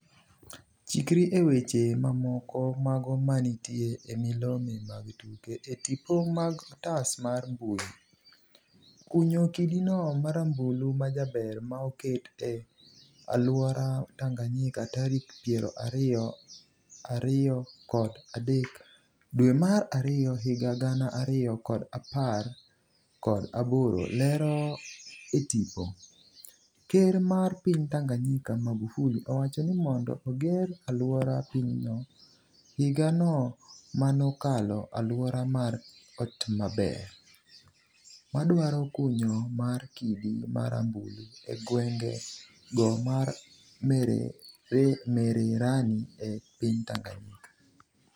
chikri e weche mamoko mago manitie e milome mag tuke e tipo mag otas mar mbui ,kunyo kidino marambulu majaber maoket e aluora Tanganyika tarik piero ariyo ariyo kod adek dwe mar ariyo higa gana ariyo kod apar kod aboro lero e tipo, ker mar piny Tanganyika Magufuli owacho ni mondo oger aluora pinyno, higa no manokalo aluora mar otmaber madwaro kunyo mar kidi marambulu e gwenge go mar Mererani e piny Tanganyika.